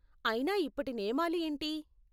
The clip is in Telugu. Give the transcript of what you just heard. అయినా ఇప్పటి నియామాలు ఏంటి?